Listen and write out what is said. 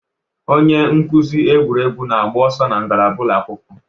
Onye nkuzi egwuregwu na-agba ọsọ na ngalaba ụlọ akwụkwọ.